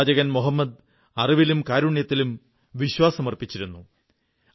പ്രവാചകൻ മുഹമ്മദ് അറിവിലും കാരുണ്യത്തിലും വിശ്വാസമർപ്പിച്ചിരുന്നു